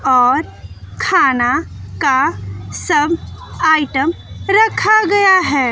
और खान का सब आइटम रखा गया है।